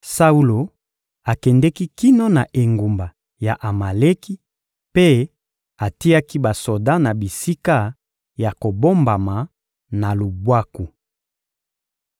Saulo akendeki kino na engumba ya Amaleki mpe atiaki basoda na bisika ya kobombama, na lubwaku.